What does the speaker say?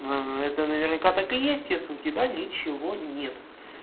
ну это наверняка так и есть у тебя ничего нет